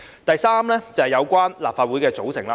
第三，有關立法會的組成。